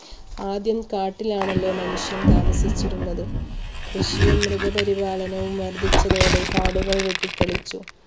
ആദ്യം കാട്ടിൽ ആണല്ലോ മനുഷ്യൻ താമസിച്ചിരുന്നത് കൃഷിയും മൃഗപരിപാലനവും വർധിച്ചതോടെ കാടുകൾ വെട്ടിത്തെളിച്ചു.